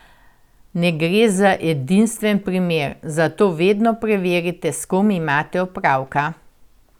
Ne gre za edinstven primer, zato vedno preverite, s kom imate opravka!